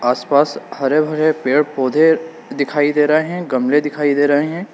आस पास हरे भरे पेड़ पौधे दिखाई दे रहे हैं गमले दिखाई दे रहे हैं।